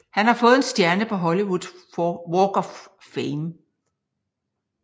Han har fået en stjerne på Hollywood Walk of Fame